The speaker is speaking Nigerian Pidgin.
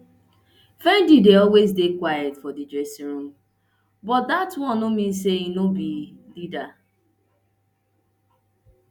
finidi dey always dey quiet for di dressing room but dat one no mean say im no be leader